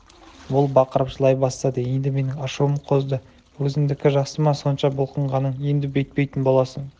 ол бақырып жылай бастады енді менің ашуым қозды өзіңдікі жақсы ма сонша бұлқынғаның енді бүйтпейтін боласың